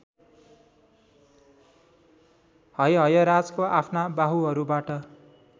हैहयराजले आफ्ना बाहुहरूबाट